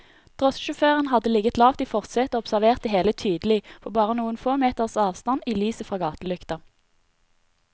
Drosjesjåføren hadde ligget lavt i forsetet og observert det hele tydelig, på bare noen få meters avstand i lyset fra gatelykta.